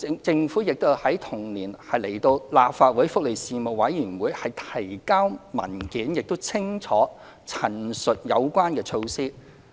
政府亦在同年向立法會福利事務委員會提交文件，清楚陳述有關措施。